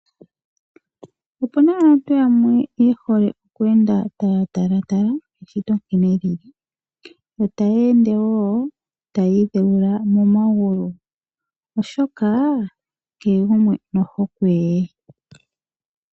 Opuna aantu yamwe ye hole oku enda taa talatala eshito nkene li li, yo taya ende wo taya idheula momagulu, oshoka kehe gumwe nohokwe ye.